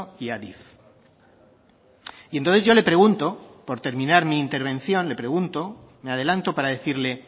y adif y entonces yo le pregunto por terminar mi intervención le pregunto me adelanto para decirle